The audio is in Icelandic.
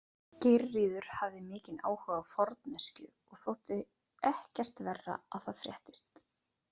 Geirríður hafði mikinn áhuga á forneskju og þótti ekkert verra að það fréttist.